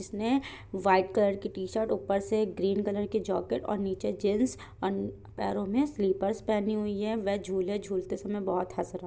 इसने white colour की t-shirt ऊपर से ग्रीन कलर की जॉकेट और नीचे जीन्स और पैरो में स्लिपर्स पहनी हुई है वे झूले झूलते समय बहुत हस रहा --